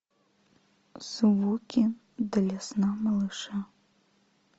звуки для сна малыша